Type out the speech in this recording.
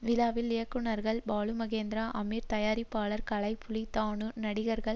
விழாவில் இயக்குனர்கள் பாலுமகேந்திரா அமீர் தயாரிப்பாளர் கலைப்புலி தாணு நடிகர்கள்